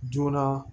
Joona